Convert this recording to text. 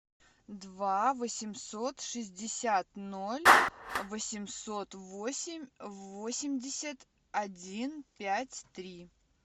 два восемьсот шестьдесят ноль восемьсот восемь восемьдесят один пять три